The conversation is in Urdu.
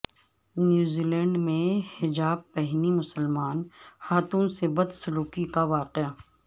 نیوزی لینڈ میں حجاب پہنی مسلمان خاتون سے بد سلوکی کا واقعہ